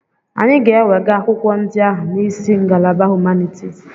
Anyị ga-ewega akwụkwọ ndị ahụ n'isi ngalaba Humanitis.